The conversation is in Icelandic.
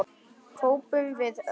hrópum við öll.